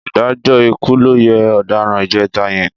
Ìdájọ́ ikú ló yẹ ọ̀daràn ìjẹta yẹn.